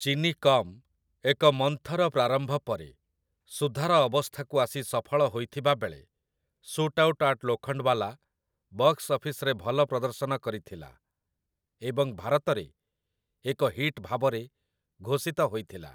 ଚିନି କମ୍' ଏକ ମନ୍ଥର ପ୍ରାରମ୍ଭ ପରେ ସୁଧାର ଅବସ୍ଥାକୁ ଆସି ସଫଳ ହୋଇଥିବା ବେଳେ 'ଶୁଟ୍ଆଉଟ୍ ଆଟ୍ ଲୋଖଣ୍ଡ୍‌ଓ୍ୱାଲା' ବକ୍ସ୍ ଅଫିସ୍‌ରେ ଭଲ ପ୍ରଦର୍ଶନ କରିଥିଲା ଏବଂ ଭାରତରେ ଏକ ହିଟ୍ ଭାବରେ ଘୋଷିତ ହୋଇଥିଲା ।